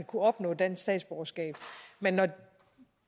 kunne opnå dansk statsborgerskab men når